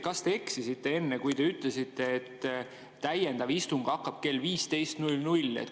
Kas te eksisite enne, kui te ütlesite, et täiendav istung hakkab kell 15.00?